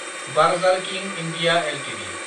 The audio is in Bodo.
बार्जार किं इन्डिया एलटिडि